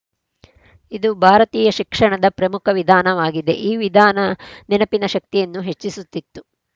ಇದು ಭಾರತೀಯ ಶಿಕ್ಷಣದ ಪ್ರಮುಖ ವಿಧಾನವಾಗಿದೆ ಈ ವಿಧಾನ ನೆನಪಿನ ಶಕ್ತಿಯನ್ನು ಹೆಚ್ಚಿಸುತ್ತಿತ್ತು